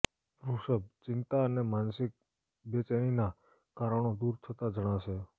વૃષભ ચિંતા અને માનસિક બેચેનીના કારણો દૂર થતાં જણાશે